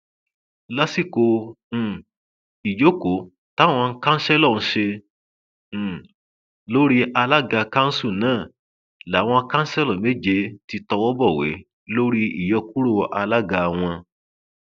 lásìkò um ìjókòó táwọn kanṣẹlò ṣe um lórí alága kanṣu náà làwọn kanṣẹlo méje ti tọwọ bọwé lórí ìyókùrọ alága wọn